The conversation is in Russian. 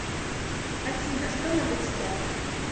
афина что надо читать